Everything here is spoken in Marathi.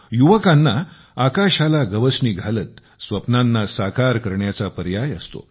युवकांना आकाशाला गवसणी घालत स्वप्नांना साकार करण्याचा पर्याय असतो